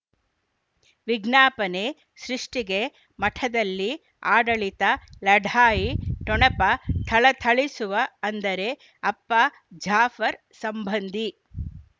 ವಿಜ್ಞಾಪನೆ ಸೃಷ್ಟಿಗೆ ಮಠದಲ್ಲಿ ಆಡಳಿತ ಲಢಾಯಿ ಠೊಣಪ ಥಳಥಳಿಸುವ ಅಂದರೆ ಅಪ್ಪ ಜಾಫರ್ ಸಂಬಂಧಿ